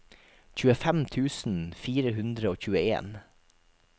tjuefem tusen fire hundre og tjueen